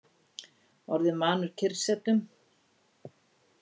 Orðinn vanur kyrrsetum.